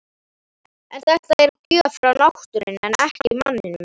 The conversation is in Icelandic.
En þetta er gjöf frá náttúrunni en ekki manninum.